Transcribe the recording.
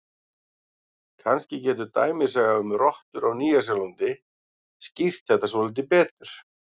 Kannski getur dæmisaga um rottur á Nýja-Sjálandi skýrt þetta svolítið betur: